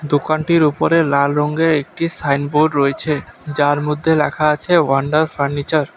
দোকানটির ওপরে লাল রঙের একটি সাইনবোর্ড রয়েছে যার মধ্যে লেখা আছে ওয়ান্ডার ফার্নিচার ।